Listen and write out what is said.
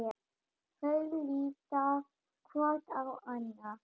Þau líta hvort á annað.